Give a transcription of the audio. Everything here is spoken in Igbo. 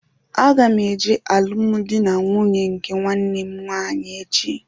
Aga m eje maka alụmdi na nwunye nke nwanne m nwaanyị echi